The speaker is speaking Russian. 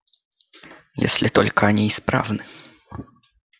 если только они исправны